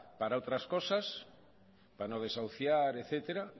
para otras cosas para no desahuciar etcétera